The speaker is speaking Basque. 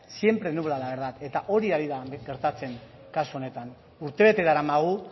siempre nubla la verdad eta hori ari da gertatzen kasu honetan urtebete daramagu